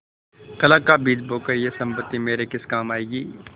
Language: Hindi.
कलह का बीज बोकर यह सम्पत्ति मेरे किस काम आयेगी